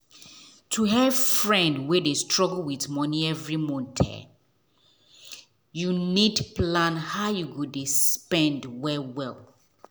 to help friend wey dey struggle with money every month you need plan how you dey spend well well.